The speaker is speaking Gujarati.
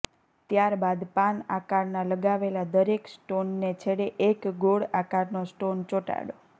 ત્યારબાદ પાન આકારના લગાવેલા દરેક સ્ટોનને છેડે એક ગોળ આકારનો સ્ટોન ચોંટાડો